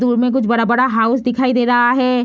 दूर में कुछ बड़ा-बड़ा हाउस दिखाई दे रहा है।